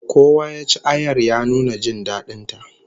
Kowa ya ci ayar, ya nuna jin dadin ta